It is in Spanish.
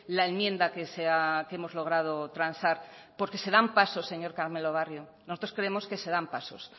la enmienda que hemos logrado transar porque se dan pasos señor carmelo barrio nosotros creemos que se dan pasos